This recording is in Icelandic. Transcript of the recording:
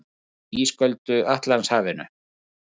Uppi í ísköldu Atlantshafinu.